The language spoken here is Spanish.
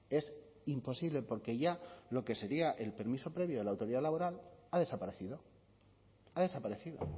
es imposible porque ya lo que sería el permiso previo de la autoridad laboral ha desaparecido ha desaparecido